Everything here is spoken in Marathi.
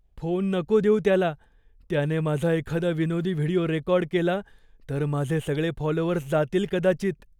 फोन नको देऊ त्याला. त्याने माझा एखादा विनोदी व्हिडिओ रेकॉर्ड केला, तर माझे सगळे फॉलोअर्स जातील कदाचित.